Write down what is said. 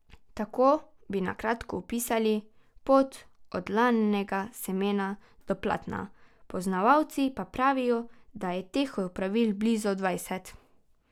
Tako bi na kratko opisali pot od lanenega semena do platna, poznavalci pa pravijo, da je teh opravil blizu dvajset.